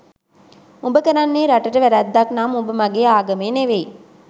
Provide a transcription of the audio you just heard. උඹ කරන්නේ රටට වැරැද්දක් නම් උඹ මගෙ ආගමේ නෙමෙයි